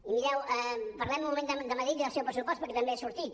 i mireu parlem un moment de madrid i del seu pressupost perquè també ha sortit